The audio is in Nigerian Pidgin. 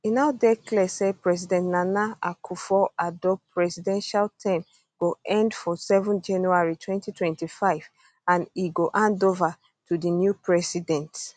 e now dey clear say president nana akufo addo presidential term go end for 7 january 2025 and e go handova to di new president